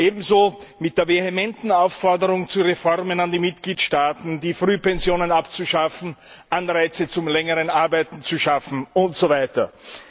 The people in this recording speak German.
Ebenso mit der vehementen Aufforderung zu Reformen an die Mitgliedstaaten, die Frühpensionen abzuschaffen, Anreize zum längeren Arbeiten zu schaffen usw.